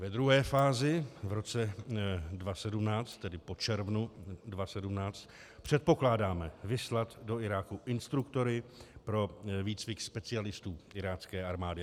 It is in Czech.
Ve druhé fázi v roce 2017, tedy po červnu 2017, předpokládáme vyslat do Iráku instruktory pro výcvik specialistů irácké armády.